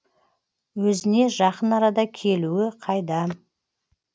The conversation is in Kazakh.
өзіне жақын арада келуі қайдам